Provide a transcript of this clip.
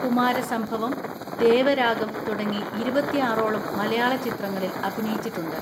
കുമാരസംഭവം, ദേവരാഗം തുടങ്ങി ഇരുപത്തിആറോളം മലയാള ചിത്രങ്ങളിൽ അഭിനയിച്ചിട്ടുണ്ട്.